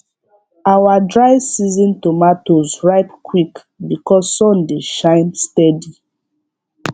our dry season tomatoes ripe quick because sun dey shine steady